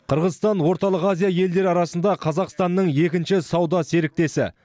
қырғызстан орталық азия елдері арасында қазақстанның екінші сауда серіктесі